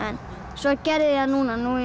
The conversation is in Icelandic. svo gerði ég það núna núna